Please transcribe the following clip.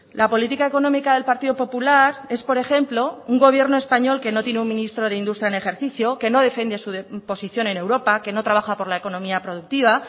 la política económica del partido popular es por ejemplo un gobierno español que no tiene un ministro de industria en ejercicio que no defiende su posición en europa que no trabaja por la economía productiva